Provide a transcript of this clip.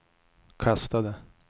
kastade